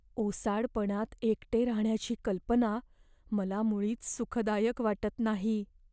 ओसाडपणात एकटे राहण्याची कल्पना मला मुळीच सुखदायक वाटत नाही.